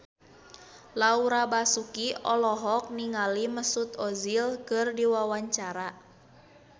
Laura Basuki olohok ningali Mesut Ozil keur diwawancara